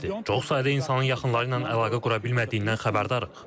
Çox sayda insanın yaxınları ilə əlaqə qura bilmədiyindən xəbərdarıq.